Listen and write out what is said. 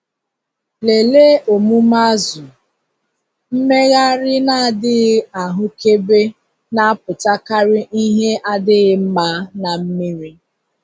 Lelee omume azụ - mmegharị na-adịghị ahụkebe na-apụtakarị ihe adịghị mma na mmiri.